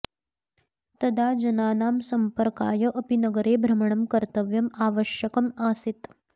तदा जनानां सम्पर्काय अपि नगरे भ्रमणं कर्त्तव्यम् आवश्यकम् आसीत्